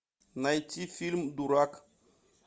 найти фильм дурак